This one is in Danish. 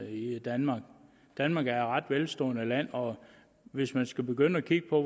i danmark danmark er et ret velstående land og hvis vi skal begynde at kigge på